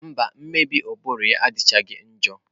Mba, mmebi ụbụrụ ya adịchaghị njọ.